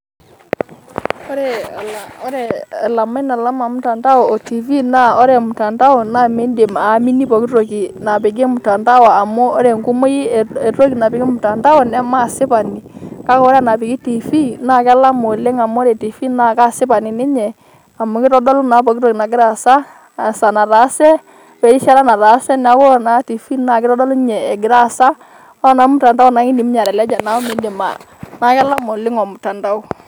Ore elamai te mutandao ontiifii naa ore mutandao naa miidim ayamini pooki toki napiki mutandao amu ore enkumoi epplooki toki napiki mutandao nemaa asipani kake ore enapiki Tiifii naa kelama oleng' amu ore Tiifii naa kaasipani ninye amu keitodolu naa pooki toki nagira aasa, nataase werishata nataase neaku ore naa Tiifii naa keitodolu ninye egira aasa ore naa mutandao naa keidim ninye ateleja neeku miidim a neeku kelama oleng' ormutandao.